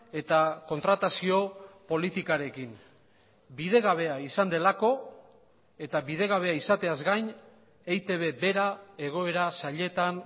eta kontratazio politikarekin bidegabea izan delako eta bidegabea izateaz gain eitb bera egoera zailetan